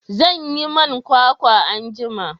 zan yi man kwakwa anjima